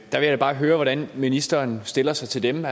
jeg da bare høre hvordan ministeren stiller sig til dem